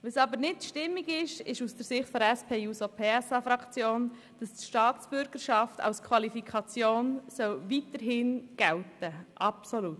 Was aus Sicht der SP-JUSO-PSA-Fraktion jedoch nicht sein darf, ist, dass die Staatsbürgerschaft weiterhin als Qualifikation gelten soll.